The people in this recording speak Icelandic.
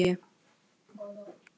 Hún sé